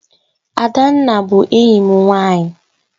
Adanna bu enyim nwanyi